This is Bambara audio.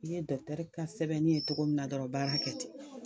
I ye dɔkutɛri ka sɛbɛnni ye cogo min na dɔrɔn baara kɛ ten.